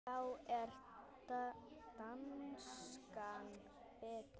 Þá er danskan betri.